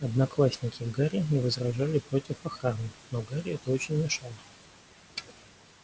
одноклассники гарри не возражали против охраны но гарри это очень мешало